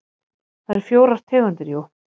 Það eru fjórar tegundir jú.